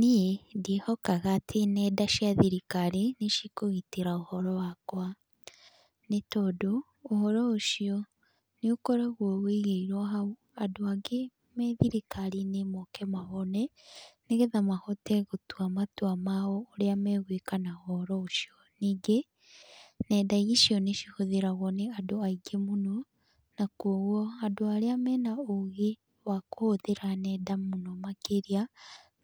Niĩ ndiĩhokaga atĩ nenda cia thirikari nĩ cikũgitĩra ũhoro wakwa, nĩ tondũ, ũhoro ũcio, nĩ ũkoragwo ũigĩirwo hau andũ angĩ me thirikari-inĩ moke mawone, nĩgetha mahote gũtua matua mao ũrĩa megũĩka na ũhoro ũcio. Ningĩ, nenda icio nĩ cihũthĩragwo nĩ andũ aingĩ mũno, na kwoguo andũ arĩa mena ũgĩ wa kũhũthĩra nenda mũno makĩria,